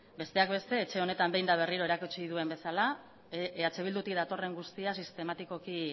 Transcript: besteak beste etxe honetan behin eta berriro erakutsi duen bezala eh bildutik datorren guztia sistematikoki